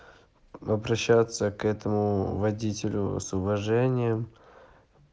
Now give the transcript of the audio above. обращаться к этому водителю с уважением